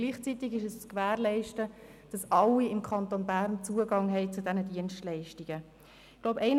Gleichzeitig ist zu gewährleisten, dass alle Personen im Kanton Bern Zugang zu diesen Dienstleistungen haben.